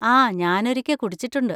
ആ ഞാനൊരിക്കെ കുടിച്ചിട്ടുണ്ട്.